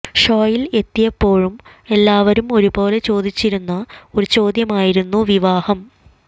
ഷോയിൽ എത്തിയപ്പോഴും എല്ലാവരും ഒരുപോലെ ചോദിച്ചിരുന്ന ഒരു ചോദ്യമായിരുന്നു വിവാഹം